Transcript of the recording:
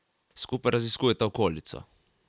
Skupaj raziskujeta okolico.